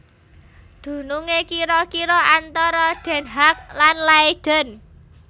Dunungé kira kira antara Den Haag lan Leiden